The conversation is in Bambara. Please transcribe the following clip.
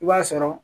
I b'a sɔrɔ